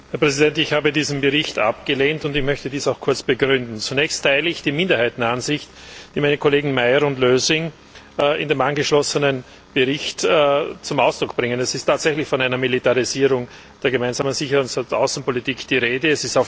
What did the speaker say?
Herr Präsident! Ich habe diesen Bericht abgelehnt und möchte dies auch kurz begründen. Zunächst teile ich die Minderheitenansicht, die meine Kollegen Meyer und Lösing in dem angeschlossenen Bericht zum Ausdruck bringen. Es ist tatsächlich von einer Militarisierung der gemeinsamen Sicherheits und Außenpolitik die Rede.